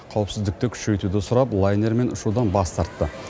қауіпсіздікті күшейтуді сұрап лайнермен ұшудан бас тартты